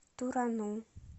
турану